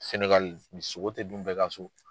Sɛnɛgali sogo tɛ dun bɛɛ ka so.